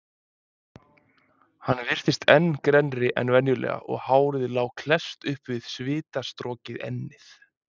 Hann virtist enn grennri en venjulega og hárið lá klesst upp við svitastorkið ennið.